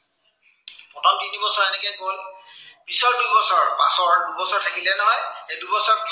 প্ৰথম তিনিবছৰ এনেকে গল। পিছৰ দুবছৰ, পাছৰ থাকিলে নহয়, সেই দুবছৰ